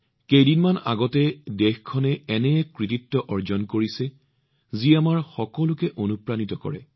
কেইদিনমান পূৰ্বে দেশখনে এনে এক কৃতিত্ব অৰ্জন কৰিছে যি আমাৰ সকলোকে অনুপ্ৰাণিত কৰিছে